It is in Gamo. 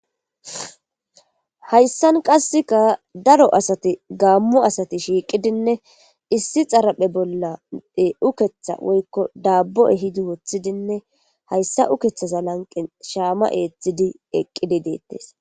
hayssan qasseka daro asati gammo asati shiiqidinne issi xaraphe bollade ukeththa woykko daabbo you ehidi woththidinne hayssa ukethaza lanqe shaama eeththidi eqqidi deettes